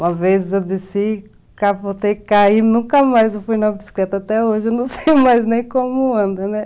Uma vez eu desci, capotei, caí, nunca mais eu fui na bicicleta até hoje, não sei mais nem como anda, né?